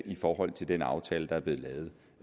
i forhold til den aftale der er blevet lavet